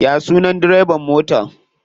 Ya sunan direban motan?